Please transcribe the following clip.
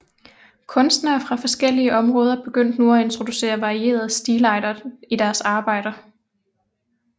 Kunstnere fra forskellige områder begyndte nu at introducere varierede stilarter i deres arbejder